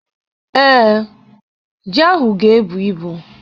Ee, ji ahụ ga-ebu ibu.